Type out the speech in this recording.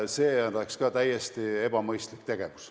See oleks ka täiesti ebamõistlik tegevus.